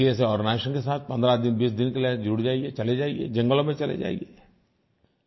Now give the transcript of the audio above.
किसी ऐसे आर्गेनाइजेशंस के साथ 15 दिन 20 दिन के लिये जुड़ जाइये चले जाइये जंगलों में चले जाइये